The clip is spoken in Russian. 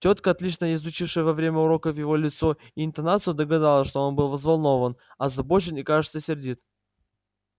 тётка отлично изучившая во время уроков его лицо и интонацию догадалась что он был взволнован озабочен и кажется сердит